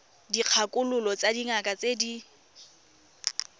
dikgakololo tsa dingaka tse di